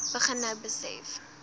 begin nou besef